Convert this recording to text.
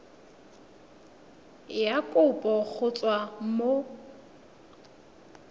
ya kopo go tswa mo